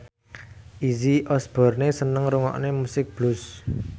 Izzy Osborne seneng ngrungokne musik blues